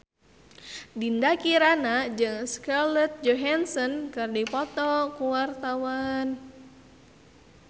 Dinda Kirana jeung Scarlett Johansson keur dipoto ku wartawan